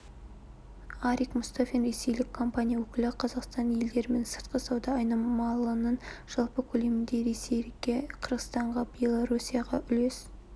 арик мұстафин ресейлік компания өкілі қазақстанның елдерімен сыртқы сауда айналымының жалпы көлемінде ресейге қырғызстанға белоруссияға үлес